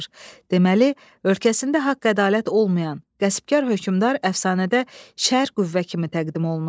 Deməli, ölkəsində haqq-ədalət olmayan, qəsbkar hökmdar əfsanədə şər qüvvə kimi təqdim olunur.